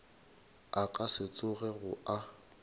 a ka se tsogego a